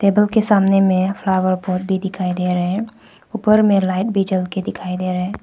Table के सामने में फ्लावर पॉट भी दिखाई दे रहे ऊपर में लाइट भी ज़्वल के दिखाई दे रहे।